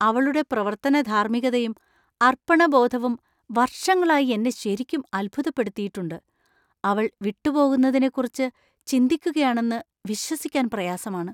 അവളുടെ പ്രവർത്തന ധാർമ്മികതയും അർപ്പണബോധവും വർഷങ്ങളായി എന്നെ ശരിക്കും അത്ഭുതപ്പെടുത്തിയിട്ടുണ്ട് ; അവൾ വിട്ടുപോകുന്നതിനെക്കുറിച്ച് ചിന്തിക്കുകയാണെന്ന് വിശ്വസിക്കാൻ പ്രയാസമാണ്.